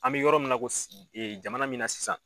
An bɛ yɔrɔ min na ko jamana min na sisan.